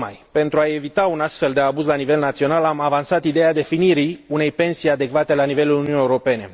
Pentru a evita un astfel de abuz la nivel național am avansat ideea definirii unei pensii adecvate le nivelul Uniunii Europene.